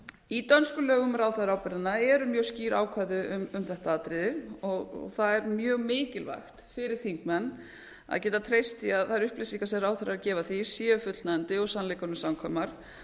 í dönskum lögum um ráðherraábyrgðina eru mjög skýr ákvæði um þetta atriði það er mjög mikilvægt fyrir þingmenn að geta treyst því að þær upplýsingar sem ráðherrar gefa því séu fullnægjandi og séu sannleikanum samkvæmar